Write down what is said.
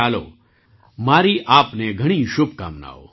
ચાલો મારી આપને ઘણી શુભકામનાઓ